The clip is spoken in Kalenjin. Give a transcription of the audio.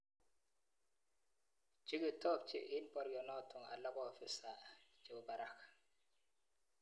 Che kitobche eng borionotok alak ko ofisa chebo barak.